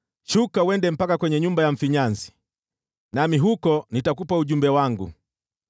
“Shuka uende mpaka nyumba ya mfinyanzi, nami huko nitakupa ujumbe wangu.”